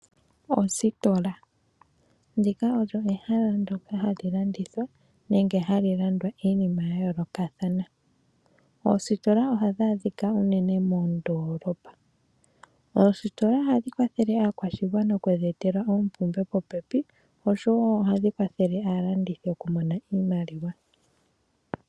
Ositola, ndika olyo ehala ndoka halilandithwa nenge halilandwa iinima yayoloka thana, oositola ohadhadhika unene mondolopa, oositola ohadhi kwathele akwashingwana oku yetela opumbwe popepi oshowo ohadhi kwathele alandithi okumona iimaliwa.